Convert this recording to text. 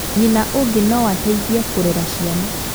Nyina ũngĩ noateithie kũrera ciana